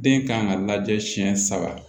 Den kan ka lajɛ siyɛn saba